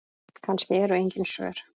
Kannski eru engin svör.